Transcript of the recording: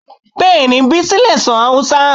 Bẹ́ẹ̀ni Bísí lè sọ Hausa